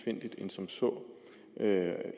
end som så